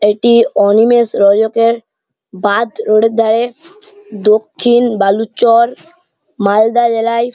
এটি অনিমেষ রজকের বাঁধ রোডের ধারে দক্ষিণ বালুচর মালদা জেলায়।